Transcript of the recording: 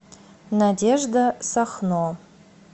надежда сахно